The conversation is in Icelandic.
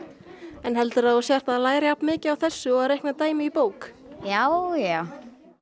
en heldur þú að þú lærir jafn mikið af þessu og að reikna dæmi í bók já já